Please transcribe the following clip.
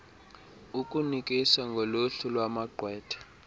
ukunikisa ngoluhlu lwamagqwetha